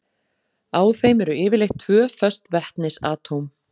Á þeim eru yfirleitt tvö föst vetnisatóm.